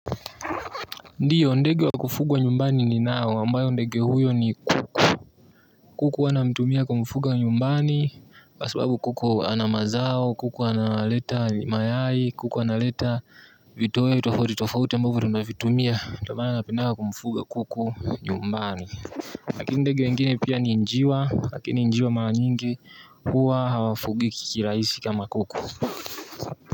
Ndiyo ndege wa kufugwa nyumbani ninao ambayo ndege huyo ni kuku kuku huwa namtumia kumfuga nyumbani kwa sababu kuku ana mazao kuku analeta mayai kuku analeta vitu tofauti tofauti ambavyo tunavitumia ndio maana napendanga kumfuga kuku nyumbani lakini ndege wengine pia ni njiwa lakini njiwa mara nyingi huwa hawafugiki kirahisi kama kuku.